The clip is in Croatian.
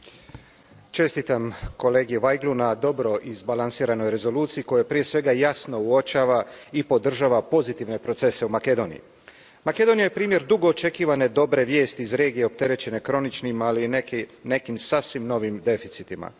Poštovana predsjedavajuća, čestitam kolegi Vajglu na dobro izbalansiranoj Rezoluciji koja, prije svega, jasno uočava i podržava pozitivne procese u Makedoniji. Makedonija je primjer dugo očekivane dobre vijesti iz regije opterećene kroničnim, ali i nekim sasvim novim deficitima.